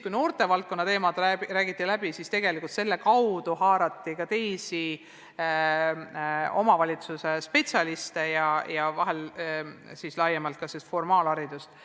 Kui noortevaldkonna teemasid läbi räägiti, siis haarati kaasa ka teisi omavalitsuse spetsialiste ja vahel analüüsiti laiemalt ka sellist formaalharidust.